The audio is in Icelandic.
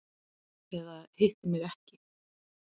Eða hitti mig ekki.